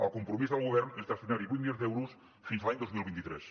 el compromís del govern és destinar hi vuit milions d’euros fins l’any dos mil vint tres